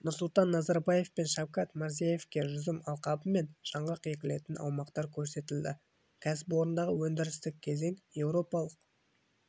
нұрсұлтан назарбаев пен шавкат мирзиевке жүзім алқабы мен жаңғақ егілетін аумақтар көрсетілді кәсіпорындағы өндірістік кезең еуропалық